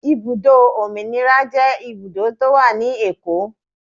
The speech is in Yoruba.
Ibùdó Òmìnira jẹ́ ibùdó tó wà ní Èkó.